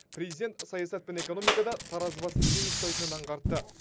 президент саясат пен экономикада таразы басын тең ұстайтынын аңғартты